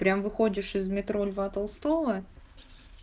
прям выходишь из метро льва толстого